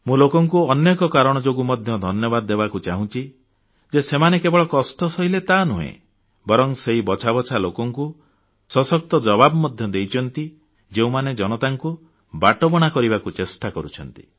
ମୁଁ ଲୋକଙ୍କୁ ଅନ୍ୟ ଏକ କାରଣ ଯୋଗୁଁ ମଧ୍ୟ ଧନ୍ୟବାଦ ଦେବାକୁ ଚାହୁଁଛି ଯେ ସେମାନେ କେବଳ କଷ୍ଟ ସହିଲେ ତାହାନୁହେଁ ବରଂ ସେହି ବଛାବଛା ଲୋକଙ୍କୁ ସଶକ୍ତ ଜବାବ ମଧ୍ୟ ଦେଇଛନ୍ତି ଯେଉଁମାନେ ଜନତାଙ୍କୁ ବାଟବଣା କରିବାକୁ ଚେଷ୍ଟା କରୁଛନ୍ତି